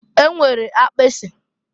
E nwere akpịsị.